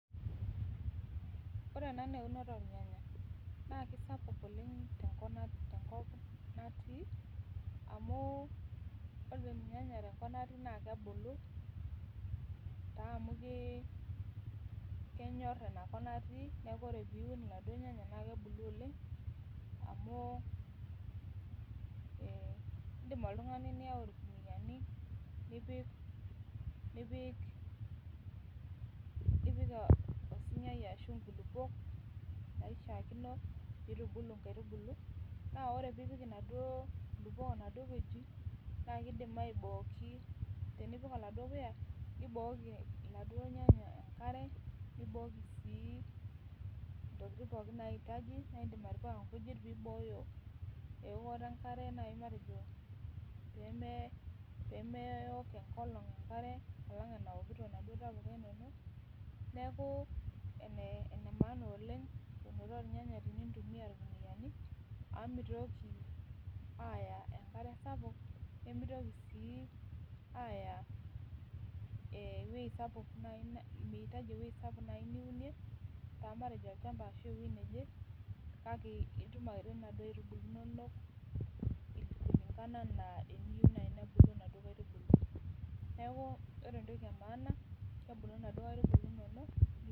Ore ena naa eunoto oolnyanya naa sapuk oleng tenkop natii amu ore lnyanya tenkop natii naa kebulu taa amu kenyor niaku kebulu oleng amu indim oltungani niyau ilkunuyiani nipik osunyai ashu inkulukuo naishaakino piitubulu nktaitubulu naa tunipik oladuo puya nibooki iladuo nyanya enkare ashu ntokiting naayieu nibooyo enkare peemewok enkolong' enkare alang enawokito inaduo tapuka inono neeku enemaana oleng tenintumia ikunuyiani amu mintoki aaya enkare sapuk nimitoki sii aaya ewuei sapuk nai niunie kake ebulu anaa eniyieu nai nebulu nena kaitibulu inonok